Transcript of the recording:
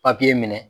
papiye minɛ